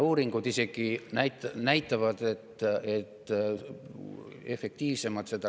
Uuringud näitavad, et on isegi efektiivsemad.